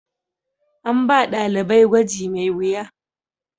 An ba dalibai gwaji mai wuya.